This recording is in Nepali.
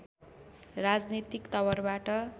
राजनीतिक तवरबाट